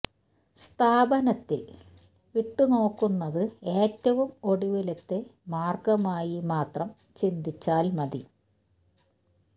സ്ഥാപനത്തില് വിട്ട് നോക്കുന്നത് ഏറ്റവും ഒടുവിലത്തെ മാര്ഗമായി മാത്രം ചിന്തിച്ചാല് മതി